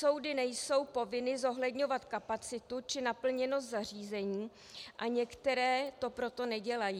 Soudy nejsou povinny zohledňovat kapacitu či naplněnost zařízení a některé to proto nedělají.